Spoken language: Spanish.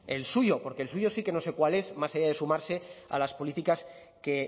el suyo porque el suyo sí que no sé cuál es más allá de sumarse a las políticas que